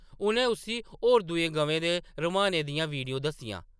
उʼनें उस्सी होर दूइयें गवें दे रम्हाने दियां वीडियो दस्सियां।